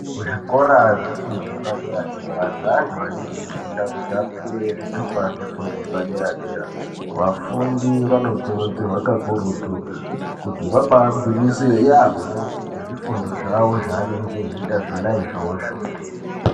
Kuzvikora zvefundo yepadera-dera zveantu anenge eifunda kuti apuwe zvitupa zvefundo yepadera-dera. Vafundi vanokurudzirwa kakurutu kuti vabaagwinyisire yaamho ngezvifundo zvawo zvaanenga eiita zvona izvozvo.